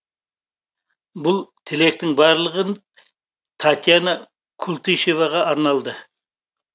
бұл тілектің барлығы татьяна култышеваға арналды